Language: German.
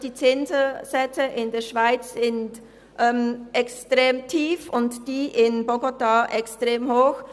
Die Zinssätze in der Schweiz sind extrem tief, diejenigen in Bogotá extrem hoch.